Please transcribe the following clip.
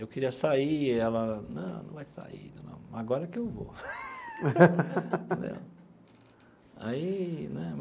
Eu queria sair e ela, não, não vai sair não, agora que eu vou né aí né.